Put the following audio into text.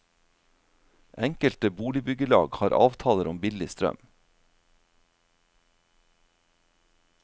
Enkelte boligbyggelag har avtaler om billig strøm.